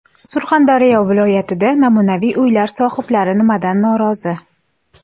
Surxondaryo viloyatida namunaviy uylar sohiblari nimadan norozi?.